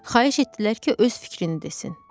Xahiş etdilər ki, öz fikrini desin.